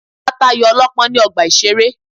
A ta ayò ọlọ́pọ́n ní ọgbà ìṣeré.